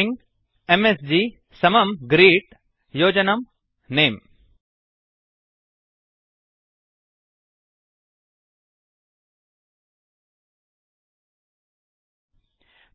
string MSG string M S G समं greet greet योजनं नमे नेम्